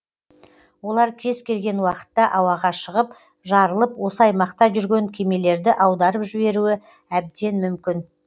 олар кез келген уақытта ауаға шығып жарылып осы аймақта жүрген кемелерді аударып жіберуі әбден мүмкін